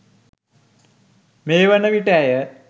මේවන විට ඇය